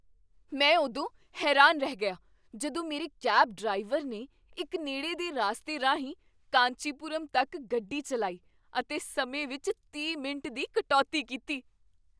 ਮੈਂ ਉਦੋਂ ਹੈਰਾਨ ਰਹਿ ਗਿਆ ਜਦੋਂ ਮੇਰੇ ਕੈਬ ਡਰਾਈਵਰ ਨੇ ਇੱਕ ਨੇੜੇ ਦੇ ਰਾਸਤੇ ਰਾਹੀਂ ਕਾਂਚੀਪੁਰਮ ਤੱਕ ਗੱਡੀ ਚੱਲਾਈ ਅਤੇ ਸਮੇਂ ਵਿੱਚ ਤੀਹ ਮਿੰਟ ਦੀ ਕਟੌਤੀ ਕੀਤੀ!